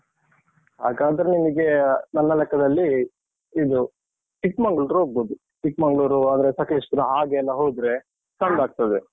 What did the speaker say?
ಹಾಗಾದ್ರೆ ನಿಮ್ಗೆ ನನ್ನ ಲೆಕ್ಕದಲ್ಲಿ ಇದು Chikmagalur tour ಹೋಗ್ಬೋದು. Chikmagalur , ಆದ್ರೆ ಸಕ್ಲೇಶ್ಪುರ ಹಾಗೆಲ್ಲ ಹೋದ್ರೆ ಚಂದ ಆಗ್ತದೆ.